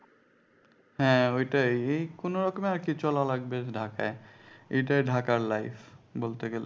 হ্যাঁ ঐটাই এই কোনোরকমে আরকি চলা লাগবে ঢাকায় এইটাই ঢাকার life বলতে গেলে